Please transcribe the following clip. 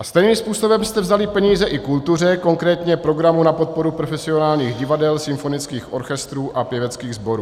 A stejným způsobem jste vzali peníze i kultuře, konkrétně programu na podporu profesionálních divadel, symfonických orchestrů a pěveckých sborů.